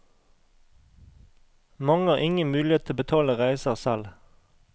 Mange har ingen mulighet til å betale reiser selv.